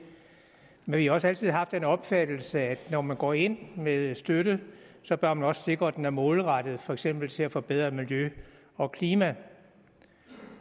men vi har også altid haft den opfattelse at når man går ind med støtte så bør man også sikre at den er målrettet for eksempel til at forbedre miljø og klima